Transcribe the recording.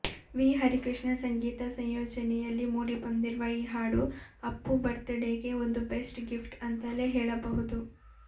V Harikrishna ಸಂಗೀತ ಸಂಯೋಜನೆಯಲ್ಲಿ ಮೂಡಿಬಂದಿರುವ ಈ ಹಾಡು ಅಪ್ಪು ಬರ್ತ್ಡೇಗೆ ಒಂದು ಬೆಸ್ಟ್ ಗಿಫ್ಟ್ ಅಂತಲೇ ಹೇಳಬಹುದು